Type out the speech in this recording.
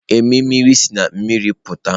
Emimiri siri na mmiri pụta.